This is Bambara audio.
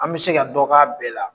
An bɛ se ka dɔ k'a bɛɛ la.